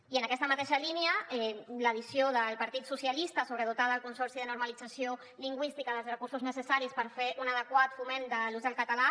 i en aquesta mateixa línia l’addició del partit socialistes sobre dotar el consorci per a la normalització lingüística dels recursos necessaris per fer un adequat foment de l’ús del català